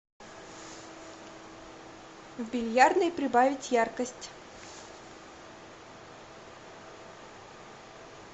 в бильярдной прибавить яркость